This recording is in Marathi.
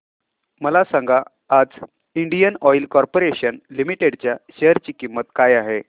मला सांगा आज इंडियन ऑइल कॉर्पोरेशन लिमिटेड च्या शेअर ची किंमत काय आहे